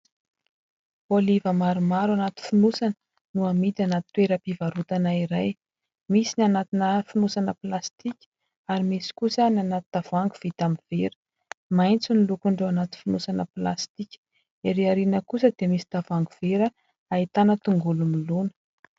Oliva maromaro anaty fonosana no amidy anaty toeram-pivarotana iray. Misy ny anatina fonosana plastika ary misy kosa ny anaty tavoahangy vita amin'ny vera. Maitso no lokon'ireo anaty fonosana plastika. Erỳ aoriana kosa dia misy tavoahangy vera ahitana tongolo milona.